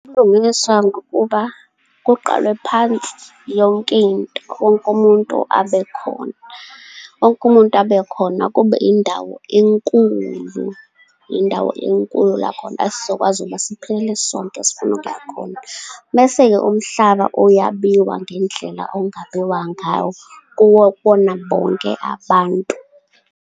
Ubulungiswa ngokuba kuqalwe phansi yonkinto, wonkumuntu abe khona, wonkumuntu abe khona. Kube indawo enkulu, indawo enkulu la khona esizokwazi ukuba siphelele sonke, sifune ukuya khona. Mese-ke umhlaba uyabiwa ngendlela ongabiwa ngawo, kubona bonke abantu.